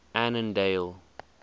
annandale